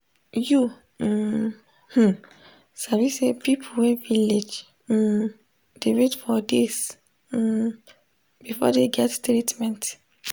you um hmm sabi say people wey village um dey wait for days um before dey get treatment.